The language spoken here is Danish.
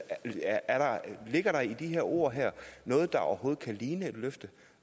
ligger der i de her ord noget der overhovedet kan ligne et løfte